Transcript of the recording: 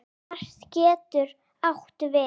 Mar getur átt við